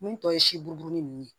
Mun tɔ ye siburumu ninnu ye